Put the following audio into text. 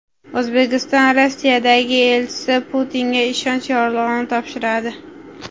O‘zbekistonning Rossiyadagi elchisi Putinga ishonch yorlig‘ini topshiradi.